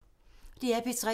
DR P3